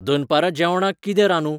दनपारां जेवणाक कितें रांदूं?